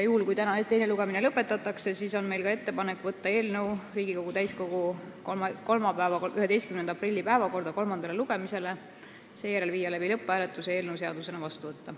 Juhul, kui täna teine lugemine lõpetatakse, on meil ettepanek võtta eelnõu Riigikogu täiskogu kolmapäeva, 11. aprilli päevakorda kolmandale lugemisele, seejärel panna see lõpphääletusele ja seadusena vastu võtta.